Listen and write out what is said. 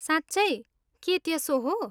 साँच्चै, के त्यसो हो?